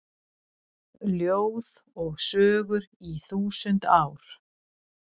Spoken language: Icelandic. Ljóð og sögur í þúsund ár